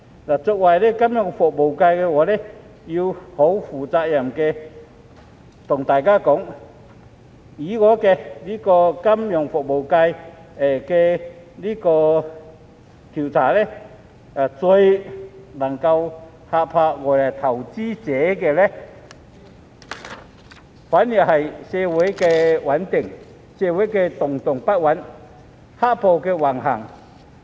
我作為金融服務業界的議員，必須負責任地告訴大家，我在金融服務界進行的調查顯示，最能嚇怕外來投資者的反而是社會動盪不穩和"黑暴"橫行。